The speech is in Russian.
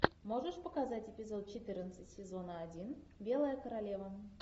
можешь показать эпизод четырнадцать сезона один белая королева